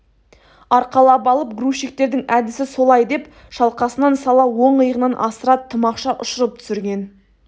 арқалап алып грузчиктердің әдісі солай деп шалқасынан сала оң иығынан асыра тымақша ұшырып түсірген